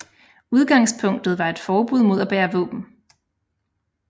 Udgangspunktet var et forbud mod at bære våben